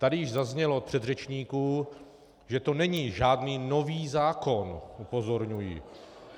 Tady již zaznělo od předřečníků, že to není žádný nový zákon, upozorňuji.